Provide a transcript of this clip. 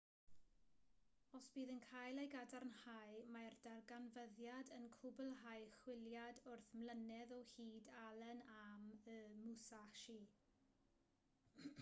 os bydd yn cael ei gadarnhau mae'r darganfyddiad yn cwblhau chwiliad wyth mlynedd o hyd allen am y musashi